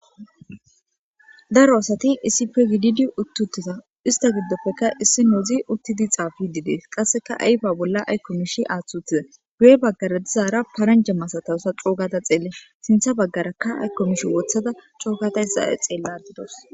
daro asati isipe gididi utti uttiza ista giddopfekka issi noozi uttidi xaafi didees qasseka ayba bolla aykkomish aaththautiza guye baggara dizaara paranje masatawsa coogata xeelle sintha baggaraka aykkomish wothada cookata hissa xeelladidos